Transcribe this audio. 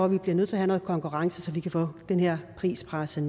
vi bliver nødt til have noget konkurrence så vi kan få den her pris presset